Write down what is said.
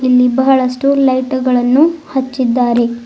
ಇಲ್ಲಿ ಬಹಳಷ್ಟು ಲೈಟು ಗಳನ್ನು ಹಚ್ಚಿದ್ದಾರೆ.